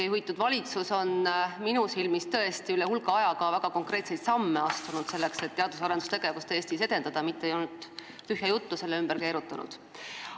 Teie juhitud valitsus on minu silmis tõesti üle hulga aja esimene valitsus, kes on ka konkreetseid samme astunud, selleks et teadus- ja arendustegevust Eestis edendada, ta ei ole mitte ainult tühja juttu selle ümber keerutanud.